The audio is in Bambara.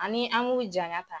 Ani an ŋ'u jaɲa ta